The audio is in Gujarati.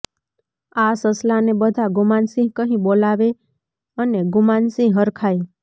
આ સસલાને બધાં ગુમાનસિંહ કહી બોલાવે અને ગુમાનસિંહ હરખાય